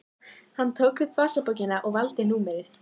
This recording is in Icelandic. Hann tók upp vasabókina og valdi númerið.